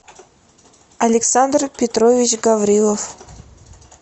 александр петрович гаврилов